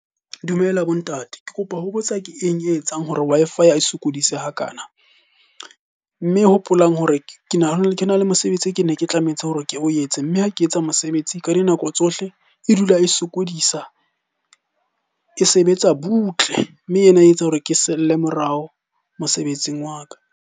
Dumela bo ntate. Ke kopa ho botsa ke eng e etsang hore Wi-Fi e sokodise hakana? Mme hopolang hore ke na le mosebetsi ke ne ke tlametse hore ke o etse, mme ha ke etsa mosebetsi ka dinako tsohle. E dula e sokodisa, e sebetsa butle. Mme ena e etsa hore ke selle morao mosebetsing wa ka.